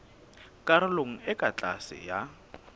karolong e ka tlase ya